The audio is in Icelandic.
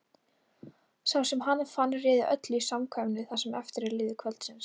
Sá sem hana fann réði öllu í samkvæminu það sem eftir lifði kvölds.